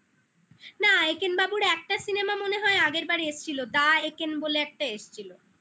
না একেন বাবুর একটা cinema মনে হয় আগেরবার এসছিল The Eken বলে একটা এসছিল